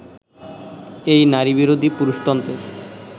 এই নারীবিরোধী পুরুষতন্ত্রের